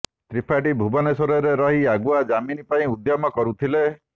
ତ୍ରିପାଠୀ ଭୁବନେଶ୍ୱରରେ ରହି ଆଗୁଆ ଜାମିନ୍ ପାଇଁ ଉଦ୍ୟମ କରୁଥିଲେ